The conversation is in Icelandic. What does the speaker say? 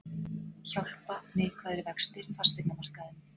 Hjálpa neikvæðir vextir fasteignamarkaðinum